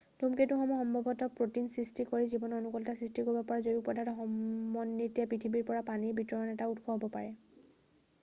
ধূমকেতুসমূহ সম্ভৱতঃ প্ৰ'টিন সৃষ্টি কৰি জীৱনৰ অনুকূলতা সৃষ্টি কৰিব পৰা জৈৱিক পদাৰ্থৰ সমন্বিতে পৃথিৱীৰ বাবে পানী বিতৰণৰ এটা উৎস হ'ব পাৰে